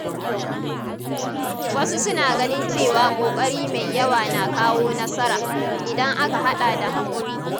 Wasu suna ganin cewa ƙoƙari mai yawa na kawo nasara, idan aka haɗa da haƙuri.